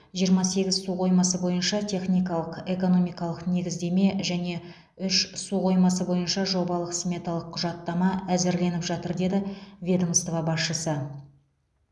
жиырма сегіз су қоймасы бойынша техникалық экономикалық негіздеме және үш су қоймасы бойынша жобалық сметалық құжаттама әзірленіп жатыр деді ведомство басшысы